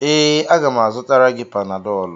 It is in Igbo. Ee, a ga m azụtara gị Panadọlụ.